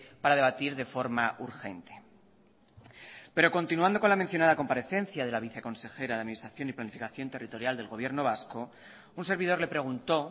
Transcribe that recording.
para debatir de forma urgente pero continuando con la mencionada comparecencia de la viceconsejera de administración y planificación territorial del gobierno vasco un servidor le preguntó